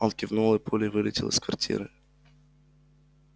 он кивнул и пулей вылетел из квартиры